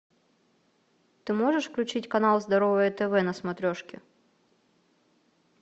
ты можешь включить канал здоровое тв на смотрешке